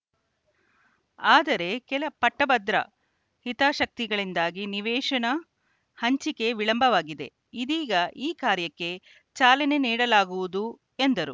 ಆದರೆ ಕೆಲ ಪಟ್ಟಭದ್ರಾ ಹಿತಾಸಕ್ತಿಗಳಿಂದಾಗಿ ನಿವೇಶನ ಹಂಚಿಕೆ ವಿಳಂಬವಾಗಿದೆ ಇದೀಗ ಈ ಕಾರ್ಯಕ್ಕೆ ಚಾಲನೆ ನೀಡಲಾಗುವುದು ಎಂದರು